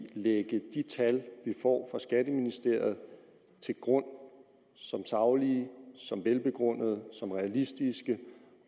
lægge de tal vi får fra skatteministeriet til grund som saglige velbegrundede realistiske